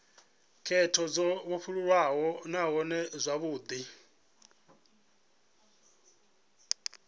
khetho dzo vhofholowaho nahone dzavhudi